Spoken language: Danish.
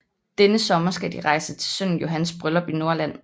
Denne sommer skal de rejse til sønnen Johans bryllup i Norrland